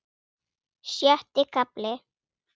Sjötti kafli